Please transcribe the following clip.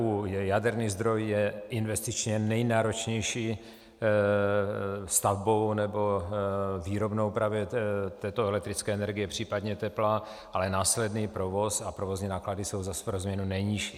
U jaderných zdrojů je investičně nejnáročnější stavbou nebo výrobnou právě této elektrické energie, případně tepla, ale následný provoz a provozní náklady jsou zase pro změnu nejnižší.